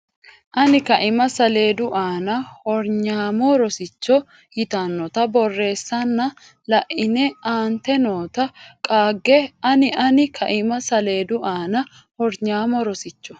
ani kaima saleedu aana Hornyaamo Rosicho yitannota borreessanna la ine aante noota qaagge ani ani kaima saleedu aana Hornyaamo Rosicho.